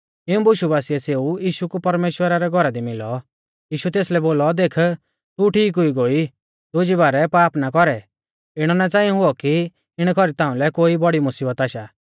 इऊं बुशु बासिऐ सेऊ यीशु कु परमेश्‍वरा रै घौरा दी मिलौ यीशुऐ तेसलै बोलौ देख तू ठीक हुई गोई दुजी बारै पाप ना कौरै इणौ ना च़ांई हुऔ कि इणै कौरी ताउंलै कोई बौड़ी मुसीबत आशा